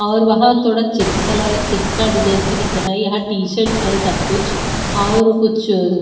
और वहां थोड़ा चिक्स कलर चिक्स का डिजाइंस भी दिख रहा है यहां टीशर्ट्स है सब कुछ और कुछ--